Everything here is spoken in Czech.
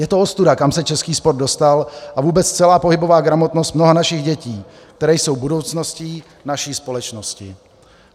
Je to ostuda, kam se český sport dostal, a vůbec celá pohybová gramotnost mnoha našich dětí, které jsou budoucností naší společnosti.